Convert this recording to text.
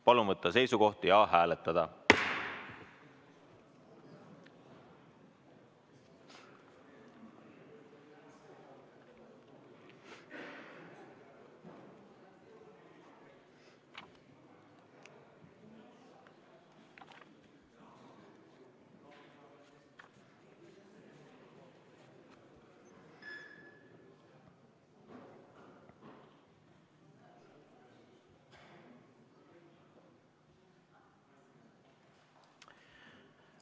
Palun võtta seisukoht ja hääletada!